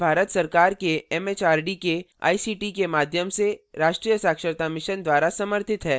यह भारत सरकार के एमएचआरडी के आईसीटी के माध्यम से राष्ट्रीय साक्षरता mission द्वारा समर्थित है